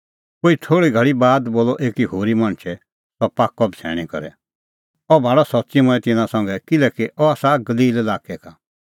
कोई थोल़ी घल़ी बाद बोलअ एकी होरी मणछै सह पाक्कअ बछ़ैणीं करै अह भाल़अ सच्च़ी मंऐं तिन्नां संघै किल्हैकि अह आसा गलील लाक्कै का